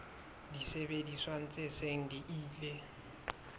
disebediswa tse seng di ile